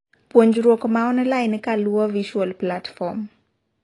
puonjruok maonline kaluwo visual platform